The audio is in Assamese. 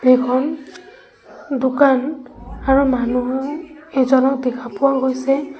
এখন দোকান আৰু মানুহো এজনক দেখা পোৱা গৈছে।